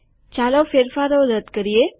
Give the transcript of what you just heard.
ચાલો ફેરફારો રદ કરીએ